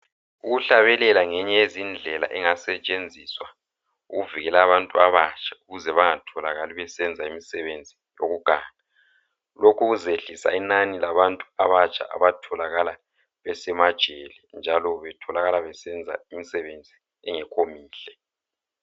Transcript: Ukuhlabelela ngeyinye yezindlela engasetshenziswa ukuvikela abantu abatsha ukuze bangatholakali besenza imisebenzi yokuganga. Lokhu kuzehlisa inani labantu abatsha abatholakala besemajele njalo betholakala besenza imisebenzi engekho mihle.